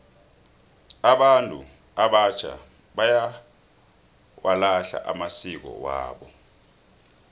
abantu abatjha bayawalahla amasiko wabo